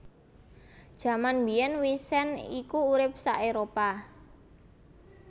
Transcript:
Jaman mbiyèn wisent iku urip sa Éropah